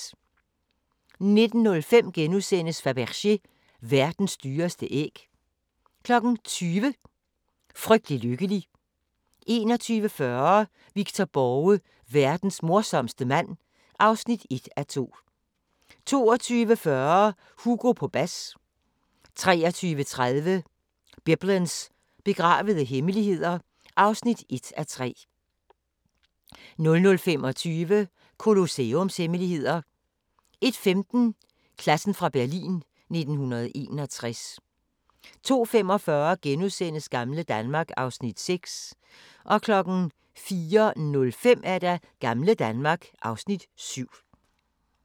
19:05: Fabergé – verdens dyreste æg * 20:00: Frygtelig lykkelig 21:40: Victor Borge: Verdens morsomste mand (1:2) 22:40: Hugo på bas 23:30: Biblens begravede hemmeligheder (1:3) 00:25: Colosseums hemmeligheder 01:15: Klassen fra Berlin 1961 02:45: Gamle Danmark (Afs. 6)* 04:05: Gamle Danmark (Afs. 7)